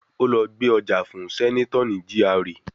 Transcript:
Ó lọ gbé ọjà fún sẹ́nátọ̀ ní GRA